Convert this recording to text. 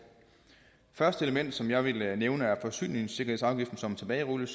det første element som jeg vil nævne er forsyningssikkerhedsafgiften som tilbagerulles